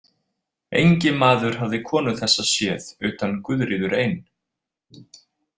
Engi maður hafði konu þessa séð utan Guðríður ein.